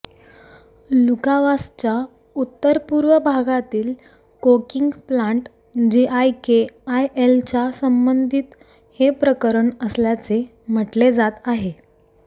लुकावासच्या उत्तरपुर्व भागातील coking plant जीआयकेआयएलच्या संबंधित हे प्रकरण असल्याचे म्हटले जात आहे